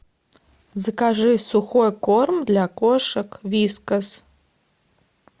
закажи сухой корм для кошек вискас